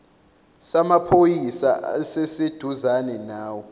samaphoyisa esiseduzane nawe